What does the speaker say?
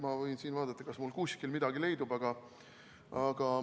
Ma võin vaadata, kas mul kuskil midagi leidub.